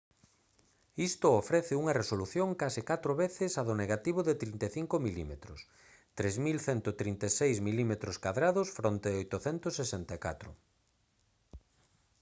isto ofrece unha resolución case catro veces a do negativo de 35 mm 3136 mm2 fronte a 864